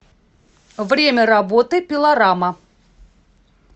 время работы пилорама